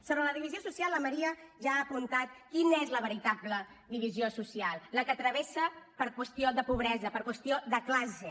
sobre la divisió social la maria ja ha apuntat quina és la veritable divisió social la que travessa per qüestió de pobresa per qüestió de classe